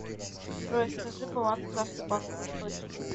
джой скажи баланс карты банк восточный